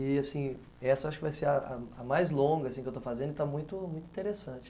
E, assim, essa acho que vai ser a a a mais longa que eu estou fazendo e está muito interessante.